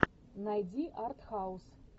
найди артхаус